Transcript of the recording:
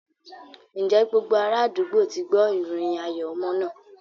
Ǹjẹ́ gbogbo ara àdúgbò ti gbọ́ ìròyìn ayọ̀ ọmọ náà?